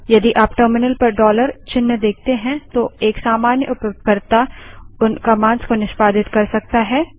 यदि आप टर्मिनल पर डॉलर चिन्ह देखते हैं तो एक सामान्य उपयोगकर्ता उन कमांड्स को निष्पादित कर सकता है